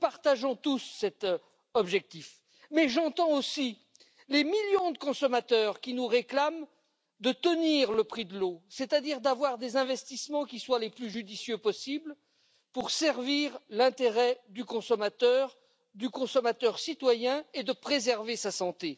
Nous partageons tous cet objectif, mais j'entends aussi les millions de consommateurs qui nous réclament de tenir le prix de l'eau, c'est à dire d'avoir des investissements qui soient les plus judicieux possible pour servir l'intérêt du consommateur, du consommateur citoyen et de préserver sa santé.